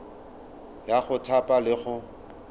ya go thapa le go